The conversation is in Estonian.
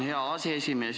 Hea aseesimees!